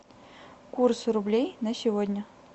курс рублей на сегодня